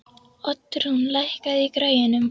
Oddrún, lækkaðu í græjunum.